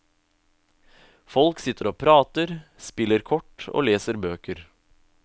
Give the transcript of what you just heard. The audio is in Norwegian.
Folk sitter og prater, spiller kort og leser bøker.